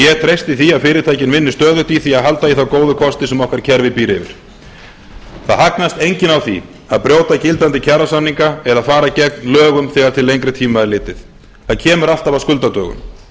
ég treysti því að fyrirtækin vinni stöðugt í því að halda í þá góðu kosti sem okkar kerfi býr yfir það hagnast enginn á því að brjóta gildandi kjarasamninga er að fara gegn lögum þegar til lengri tíma er litið það kemur alltaf að skuldadögum